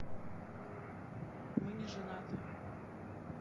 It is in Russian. мы не женаты